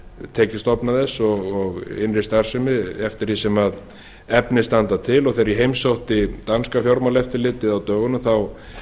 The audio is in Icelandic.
tekjustofnum þess og innri starfsemi eftir því sem efni standa til og þegar ég heimsótti danska fjármálaeftirlitið á dögunum þá